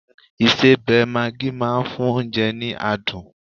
isebẹ maagi ma n fún onje ni adun